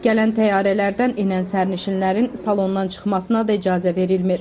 Gələn təyyarələrdən enən sərnişinlərin salondan çıxmasına da icazə verilmir.